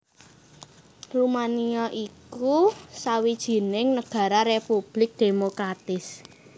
Rumania iku sawijining nagara republik demokratis